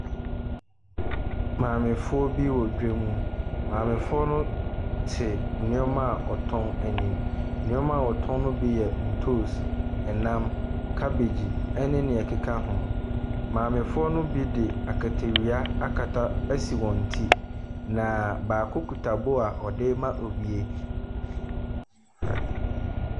Maamefoɔ bi wɔ dwam. Maamefoɔ no te nneɛma a wɔtɔn anim. Nneɛma a wɔtɔn no bi yɛ ntoosi, nnam, kabegyi ne nea ɛkeka ho. Maamefoɔ no bi de akatawia akata asi wɔn ti, na baako kuta bowl a ɔde rema obi.